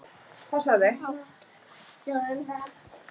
Þormundur, hringdu í Sigurjens eftir þrjátíu og fimm mínútur.